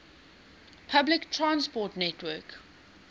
public transport network